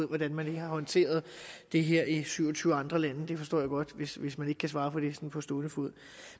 hvordan man har håndteret det her i syv og tyve andre lande jeg forstår godt hvis hvis man ikke kan svare på det sådan på stående fod